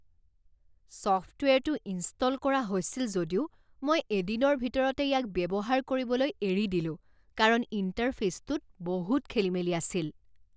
ছফ্টৱেৰটো install কৰা হৈছিল যদিও মই এদিনৰ ভিতৰতে ইয়াক ব্যৱহাৰ কৰিবলৈ এৰি দিলোঁ কাৰণ ইণ্টাৰফে'চটোত বহুত খেলিমেলি আছিল।